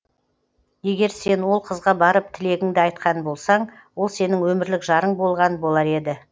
егер сен ол қызға барып тілегіңді айтқан болсаң ол сенің өмірлік жарың болған болар еді